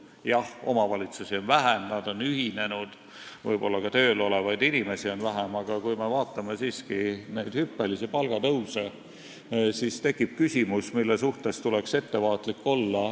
Jah, omavalitsusi on vähem, nad on ühinenud ja võib-olla on ka tööl olevaid inimesi vähem, aga kui me vaatame neid hüppelisi palgatõuse, siis tekib üks küsimus, mille suhtes tuleks ettevaatlik olla.